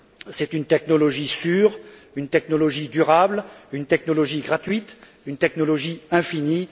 C'est une technologie sûre, une technologie durable, une technologie gratuite, une technologie infinie.